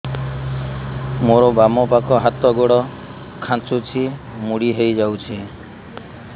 ମୋର ବାମ ପାଖ ହାତ ଗୋଡ ଖାଁଚୁଛି ମୁଡି ହେଇ ଯାଉଛି